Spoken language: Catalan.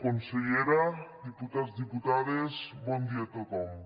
consellera diputats diputades bon dia a tothom